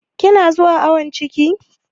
Kina zuwa awon ciki?